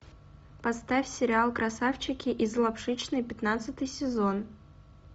поставь сериал красавчики из лапшичной пятнадцатый сезон